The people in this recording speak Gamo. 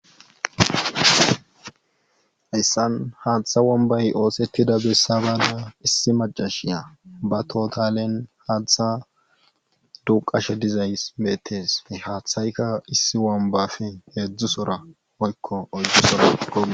Hayssan haatha bombbay oosettida bessa baada issi maccashiya batootalen haatha duuqqashe dizays beetees he haathayka issi bombbafe heedzdzu soora woykko oyddu soora goggees.